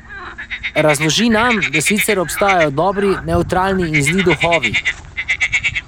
Razloži nam, da sicer obstajajo dobri, nevtralni in zli duhovi.